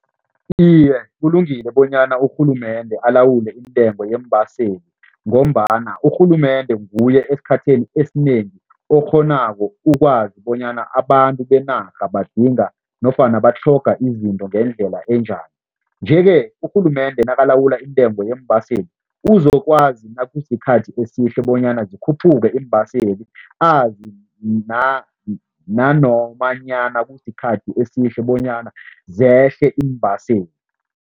Iye, kulungile bonyana urhulumende alawule intengo yeembaseli ngombana urhulumende nguye esikhathini esinengi okghonako ukwazi bonyana abantu benarha badinga nofana batlhoga izinto ngendlela enjani nje-ke urhulumende nakulawula intengo yeembaseli, uzokwazi nakusikhathi esihle bonyana zikhuphuke iimbaseli azi nanomanyana kusikhathi esihle bonyana zehle iimbaseli.